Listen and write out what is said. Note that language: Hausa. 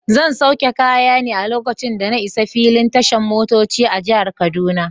Zan sauke kaya ne lokacin da na isa filin tashan motoci a jihar kaduna.